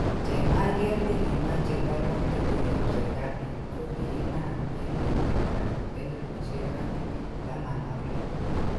Chemarget negimache wolutik koyop serkalit ko kiinam 2016